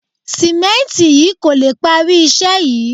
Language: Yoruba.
Sìmẹ́ǹtì yìí kò lè parí iṣẹ́ yìí